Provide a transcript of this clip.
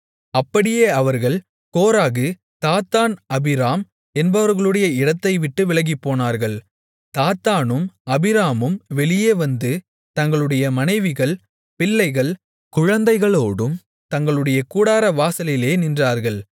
அப்படியே அவர்கள் Korah Dathan Abiram என்பவர்களுடைய இடத்தைவிட்டு விலகிப்போனார்கள் தாத்தானும் அபிராமும் வெளியே வந்து தங்களுடைய மனைவிகள் பிள்ளைகள் குழந்தைகளோடும் தங்களுடைய கூடாரவாசலிலே நின்றார்கள்